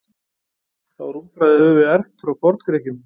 Þá rúmfræði höfum við erft frá Forngrikkjum.